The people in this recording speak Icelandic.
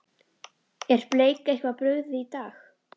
Er Bleik eitthvað brugðið í dag?